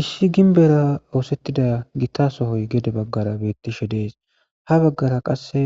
Issi ginibera osetidasoy gede bagara betishe des habagara qasi